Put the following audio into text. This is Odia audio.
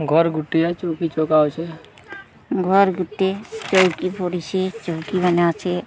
ଘର୍ ଗୁଟିଏ ଚୋଉକି ଚକା ଅଛେ ଘର୍ ଗୋଟିଏ ଚୋଉକି ପଡ଼ିଛି ଚୋଉକି ମାନେ ଅଛେ।